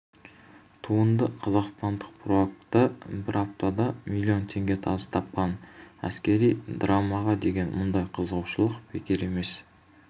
туынды қазақстандық прокатта бір аптада млн теңге табыс тапқан әскери драмаға деген мұндай қызығушылық бекер емес